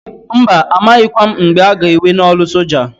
Mba! A maghịkwa m mgbe a ga ewe n'ọlụ soja.